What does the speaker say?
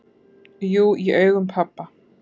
"""Jú, í augum pabba"""